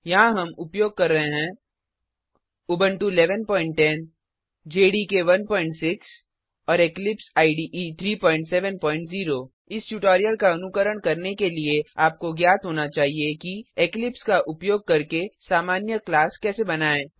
यहाँ हम उपयोग कर रहे हैं उबुंटू उबंटु 1110 जेडीके 16 और इक्लिप्स इडे 370 इस ट्यूटोरियल का अनुकरण के लिए आपको ज्ञात होना चाहिए कि इक्लिप्स का उपयोग करके सामान्य क्लास कैसे बनाएँ